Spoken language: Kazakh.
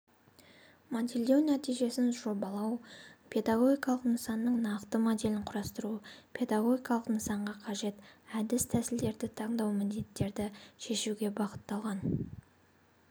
модельдеу нәтижесін жобалау педагогикалық нысанның нақты моделін құрастыру педагогикалық нысанға қажет әдіс-тәсілдерді таңдау міндеттерді шешуге бағытталған